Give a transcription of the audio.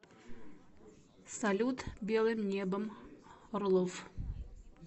салют белым небом орлов